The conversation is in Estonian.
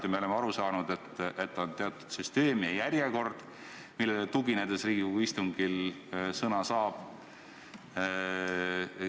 Kas me oleme valesti aru saanud, et on teatud süsteem ja järjekord, millele tuginedes Riigikogu istungil sõna saab?